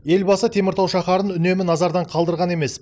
елбасы теміртау шаһарын үнемі назардан қалдырған емес